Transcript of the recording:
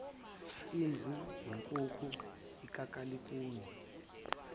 imvu inkuku ikakalikuni